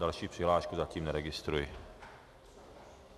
Další přihlášku zatím neregistruji.